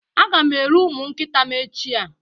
Aga m ere ụmụ nkịta m echiạ